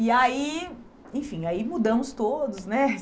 E aí, enfim, aí mudamos todos, né?